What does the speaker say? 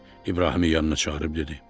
İbrahimi yanına çağırıb dedi: